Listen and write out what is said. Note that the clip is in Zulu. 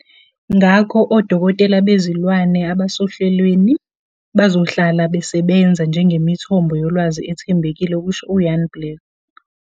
Ngakho, odokotela bezilwane abasohlelweni bazohlala besebenza njengemithombo yolwazi ethembekile," kusho u-Van Blerk.